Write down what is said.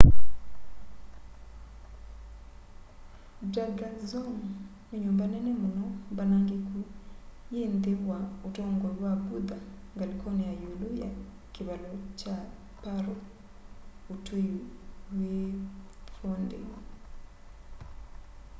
drukgyal dzong ni nyumba nene muno mbanangiku yi nthi wa utongoi wa buddha ngalikoni ya iulu ya kivalo kya paro utui wi phondey